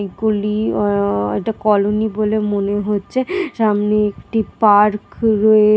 এগুলি আহ একটা কলোনি বলে মনে হচ্ছে সামনে একটি পার্ক রয়ে--